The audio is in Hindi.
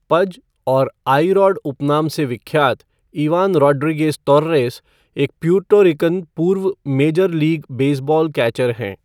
पज' और 'आई रॉड' उपनाम से विख्यात इवान रोड्रीगेज़ तोर्रेस, एक प्यूर्टो रिकन पूर्व मेजर लीग बेसबॉल कैचर है।